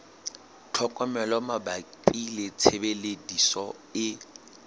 tlhokomelo mabapi le tshebediso e